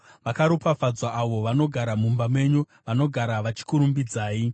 Vakaropafadzwa avo vanogara mumba menyu; vanogara vachikurumbidzai. Sera